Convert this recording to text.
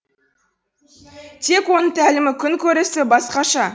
тек оның тәлімі күн көрісі басқаша